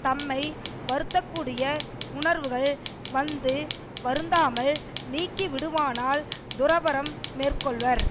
தம்மை வருத்தக்கூடிய உணர்வுகள் வந்து வருத்தாமல் நீங்கிவிடுமானால் துறவறம் மேற்கொள்வர்